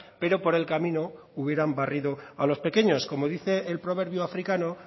pero por el camino hubieran barrido a los pequeños como dice el proverbio africano